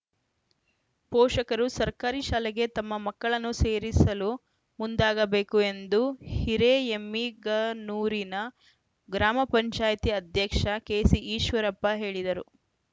ಪೋಷಕರು ಸರ್ಕಾರಿ ಶಾಲೆಗೆ ತಮ್ಮ ಮಕ್ಕಳನ್ನು ಸೇರಿಸಲು ಮುಂದಾಗಬೇಕು ಎಂದು ಹಿರೇಎಮ್ಮಿಗನೂರಿನ ಗ್ರಾಮ ಪಂಚಾಯಿತಿ ಅಧ್ಯಕ್ಷ ಕೆಸಿಈಶ್ವರಪ್ಪ ಹೇಳಿದರು